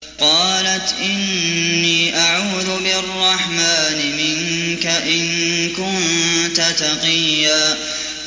قَالَتْ إِنِّي أَعُوذُ بِالرَّحْمَٰنِ مِنكَ إِن كُنتَ تَقِيًّا